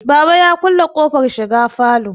baba ya kulle ƙofar shiga falo